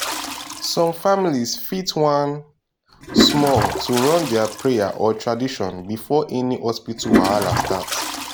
some families fit wan small to run their prayer or tradition before any hospital wahala start